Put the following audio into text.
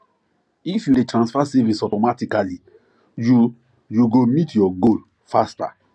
if you dey transfer savings automatically you you go meet your goal faster